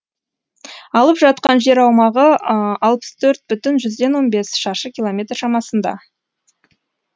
алып жатқан жер аумағы алпыс төрт бүтін жүзден он бес шаршы километр шамасында